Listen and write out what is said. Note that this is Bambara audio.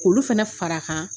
k'olu fana far"a kan